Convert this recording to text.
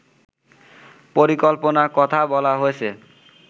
পরিকল্পনার কথা বলা হয়েছে